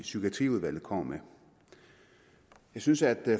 psykiatriudvalget kommer med jeg synes at